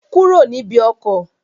Kúrò níbi ọkọ̀!